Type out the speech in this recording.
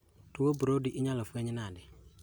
Tuo Brody inyalo fueny nade